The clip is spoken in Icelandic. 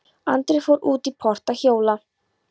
Andri fór út í port að hjóla.